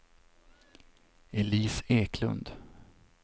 Elise Eklund